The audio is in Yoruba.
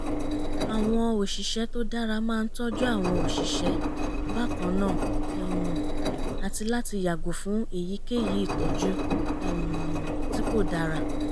àwọn òṣìṣẹ́ tó dára máa ń tọ́jú àwọn òṣìṣẹ́ bákan náà um àti láti yàgò fún èyíkéyìí ìtọ́jú um tí kò dára